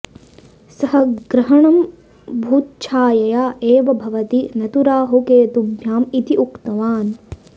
सः ग्रहणं भूच्छायया एव भवति न तु राहुकेतुभ्याम् इति उक्तवान्